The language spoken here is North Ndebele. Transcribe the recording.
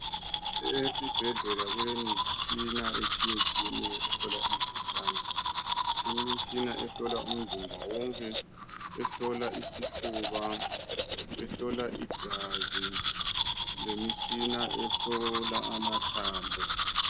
esibhedlela kulemitshina etshiyatshiyeneyo eyokuhlola imikhuhlane kulemitshina yokuhlola umzimbawonke eyokuhlola isifuba ehlola igazi lehlola lemitshina ehlola amathambo